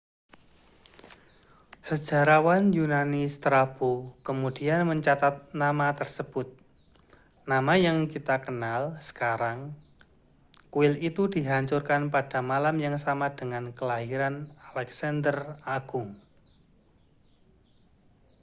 sejarawan yunani strabo kemudian mencatat nama tersebut nama yang kita kenal sekarang kuil itu dihancurkan pada malam yang sama dengan kelahiran alexander agung